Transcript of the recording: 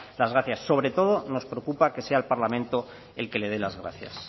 las gracias sobre todo nos preocupa que sea el parlamento el que le dé las gracias